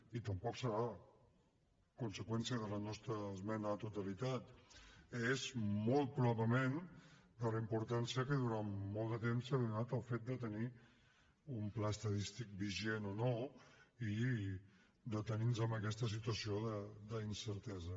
i tampoc serà conseqüència de la nostra esmena a la totalitat és molt probablement per la importància que durant molt de temps s’ha donat al fet de tenir un pla estadístic vigent o no i de tenir nos en aquesta situació d’incertesa